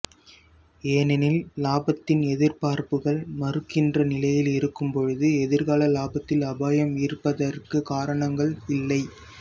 ஏனெனில் லாபத்தின் எதிர்பார்ப்புகள் மறுக்கின்ற நிலையில் இருக்கும் பொழுது எதிர்கால லாபத்தில் அபாயம் இருப்பதற்கு காரணங்கள் இல்லை